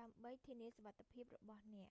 ដើម្បីធានាសុវត្ថិភាពរបស់អ្នក